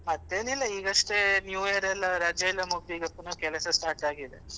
ಮತ್ತೇನಿಲ್ಲ ಈಗಷ್ಟೇ new year ಎಲ್ಲ ರಜೆ ಎಲ್ಲ ಮುಗಿದು ಈಗ ಪುನ ಕೆಲಸ start ಆಗಿದೆ.